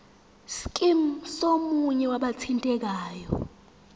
scheme somunye wabathintekayo